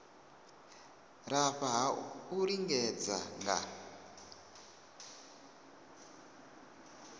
lafha ha u lingedza nga